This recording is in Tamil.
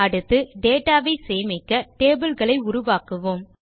அடுத்து டேட்டா வை சேமிக்க டேபிள் களை உருவாக்குவோம்